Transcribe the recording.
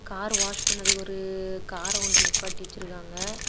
Car wash பண்ணதுக்கு ஒரு கார கொண்டு நிப்பாட்டி வச்சிருக்காங்க.